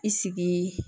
I sigi